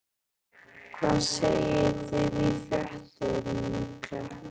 Hvað segið þið í fréttum, krakkar?